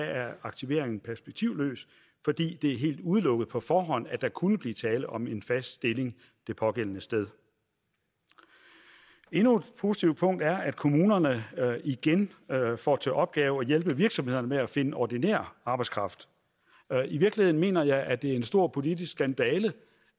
er aktivering perspektivløs fordi det er helt udelukket på forhånd at der kunne blive tale om en fast stilling det pågældende sted endnu et positivt punkt er at kommunerne igen får til opgave at hjælpe virksomhederne med at finde ordinær arbejdskraft i virkeligheden mener jeg at det er en stor politisk skandale